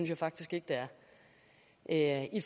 jeg faktisk ikke det er i